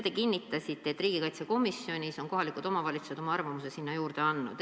Te kinnitasite, et riigikaitsekomisjonis on kohalikud omavalitsused oma arvamuse andnud.